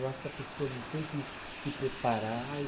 Eu acho que a pessoa não tem que se preparar.